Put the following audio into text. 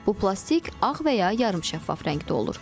Bu plastik ağ və ya yarı şəffaf rəngdə olur.